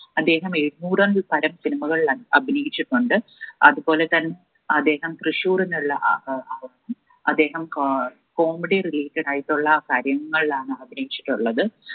അദ്ദേഹം എഴുന്നൂറ് അഹ് പരം cinema കളിലായി അഭിനയിച്ചിട്ടുണ്ട് അതുപോലെ തന്നെ അദ്ദേഹം തൃശൂരിനുള്ള അഹ് അദ്ദേഹം ഏർ comedy related ആയിട്ടുള്ള കാര്യങ്ങളാണ് അഭിനയിച്ചിട്ടുള്ളത്